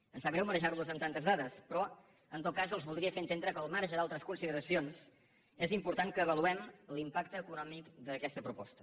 em sap greu marejarlos amb tantes dades però en tot cas els voldria fer entendre que al marge d’altres consideracions és important que avaluem l’impacte econòmic d’aquesta proposta